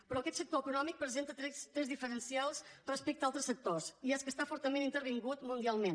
però aquest sector econòmic presenta trets diferencials respecte a altres sectors i és que està fortament intervingut mundialment